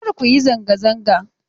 Kar ku yi zanga zanga!